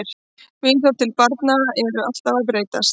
Viðhorf til barna eru alltaf að breytast.